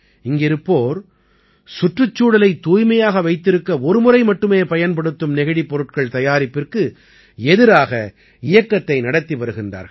இங்கிருப்போர் சுற்றுச்சூழலைத் தூய்மையாக வைத்திருக்க ஒருமுறை மட்டுமே பயன்படுத்தும் நெகிழிப் பொருட்கள் தயாரிப்பிற்கு எதிராக இயக்கத்தை நடத்தி வருகிறார்கள்